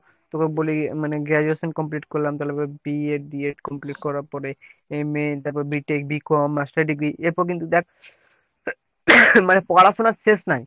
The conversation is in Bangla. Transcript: তোকে বলি মানে graduation complete করলাম তাহলে ধরে BA b ed complete করার পর MAতার পরে b tech b com master degree এর পর কিন্তু দেখ মানে পড়াশোনার শেষ নাই।